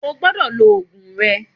O gbodò lo òògùn re